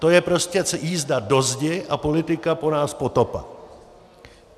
To je prostě jízda do zdi a politika po nás potopa.